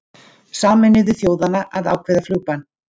Sameinuðu þjóðanna að ákveða flugbann